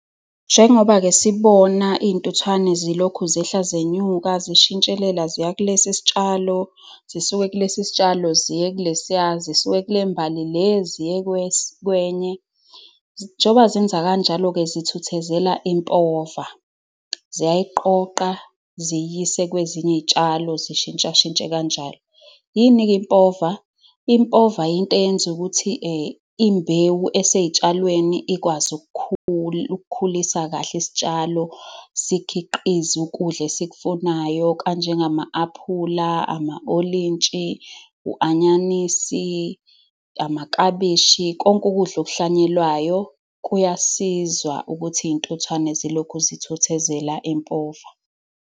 Njengoba-ke sibona iy'ntuthwane zilokhu zehla zenyuka zishintshelela, ziya kulesi sitshalo, zisuke kulesi sitshalo ziye kulesiya, zisuke kule mbali le, ziye kwenye, njoba zenza kanjalo-ke zithuthuzela impova. Ziyayiqoqa, ziyiyise kwezinye izitshalo, zishintshashintshe kanjalo. Yini-ke impova? Impova yinto eyenza ukuthi imbewu esey'tshalweni ikwazi ukukhulisa kahle isitshalo, sikhiqize ukudla esikufunayo, kanjengama-apula ama-olintshi, u-nyanisi, amaklabishi, konke ukudla okuhlwanyelwayo. Kuyasiza ukuthi izintuthwane zilokhu zithuthuzela impova.